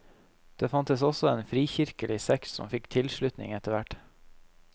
Det fantes også en frikirkelig sekt som fikk tilslutning etterhvert.